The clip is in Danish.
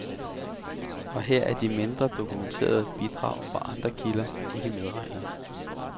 Og her er de mindre dokumenterede bidrag fra andre kilder ikke medregnet.